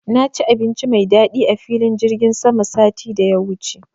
Na ci abinci mai daɗi a filin jirgin sama satin da ya wuce